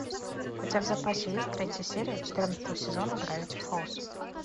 у тебя в запасе есть третья серия четырнадцатого сезона гравити фолз